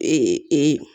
E